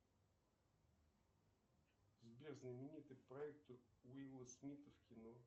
сбер знаменитый проект уилла смита в кино